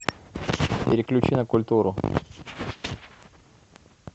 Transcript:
переключи на культуру